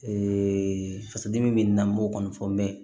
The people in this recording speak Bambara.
Ee fasoden min bɛ na n'o kɔni fɔ mɛ